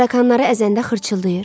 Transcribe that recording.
Tarakanları əzəndə xırçıldayır.